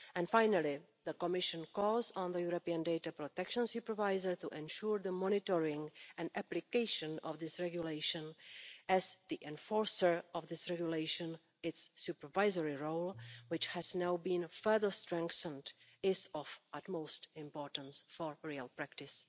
Finally, the Commission calls on the European Data Protection Supervisor to ensure the monitoring and application of this regulation, as the enforcer of this regulation its supervisory role, which has now been further strengthened is of utmost importance for real practice.